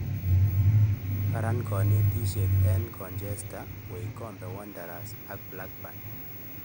Kiran konetisie en Colchester ,Wycombe wanderers ak Blackburn.